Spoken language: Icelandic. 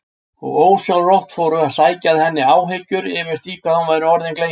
Og ósjálfrátt fóru að sækja að henni áhyggjur yfir því hvað hún væri orðin gleymin.